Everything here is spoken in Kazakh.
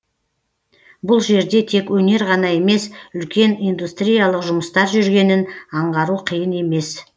бұл жерде тек өнер ғана емес үлкен индустриялық жұмыстар жүргенін аңғару қиын емес